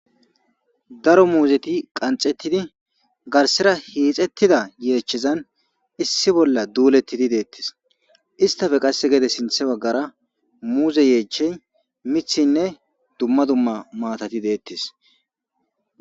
Daro muzeti qanxetidi garsera hixetida yechazan issi bola duletidi detes istape gede sinte bagara muze yechay mithinne duma duma matati detes.